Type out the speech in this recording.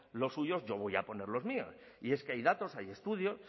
los suyos yo voy a poner los míos y es que hay datos hay estudios